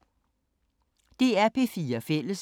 DR P4 Fælles